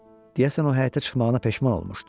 Deyəsən o həyətə çıxmağına peşman olmuşdu.